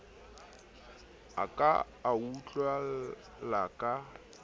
a ka a utlwela ka